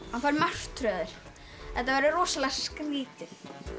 hann fær martröð þetta verður rosalega skrítið